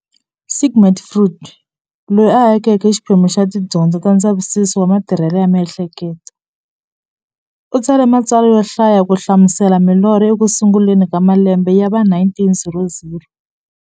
Sigmund Freud, loyi a akeke xiphemu xa tidyondzo ta ndzavisiso wa matirhele ya mi'hleketo, u tsale matsalwa yo hlaya ku hlamusela milorho eku sunguleni ka malembe ya va 1900.